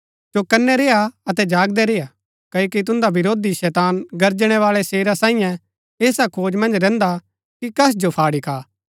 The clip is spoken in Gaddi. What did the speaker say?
चौकनै रेय्आ अतै जागदै रेय्आ क्ओकि तुन्दा वरोधी शैतान गर्जनेवाळै शेरा सांईये ऐसा खोज मन्ज रैहन्दा कि कस जो फाड़ी खा